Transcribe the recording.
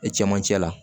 E cɛmancɛ la